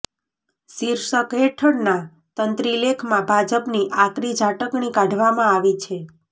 શીર્ષક હેઠળના તંત્રીલેખમાં ભાજપની આકરી ઝાટકણી કાઢવામાં આવી છે